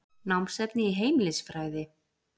Námsefni í heimilisfræði.